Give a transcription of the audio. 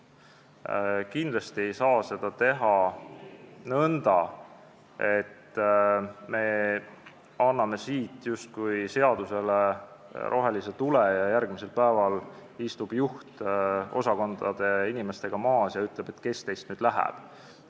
Kindlasti ei saa seda teha nõnda, et me anname siit justkui seadusega rohelise tule ja järgmisel päeval istub juht koos osakondade inimestega laua taha ja ütleb, et kes nüüd läheb.